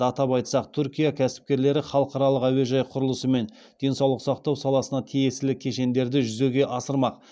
атап айтсақ түркия кәсіпкерлері халықаралық әуежай құрылысы мен денсаулық сақтау саласына тиесілі кешендерді жүзеге асырмақ